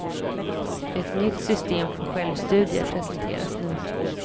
Ett nytt system för självstudier presenteras nu.